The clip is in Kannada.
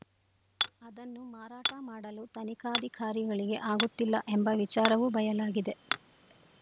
ಅದನ್ನು ಮಾರಾಟ ಮಾಡಲು ತನಿಖಾಧಿಕಾರಿಗಳಿಗೆ ಆಗುತ್ತಿಲ್ಲ ಎಂಬ ವಿಚಾರವೂ ಬಯಲಾಗಿದೆ